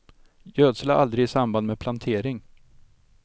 Gödsla aldrig i samband med plantering.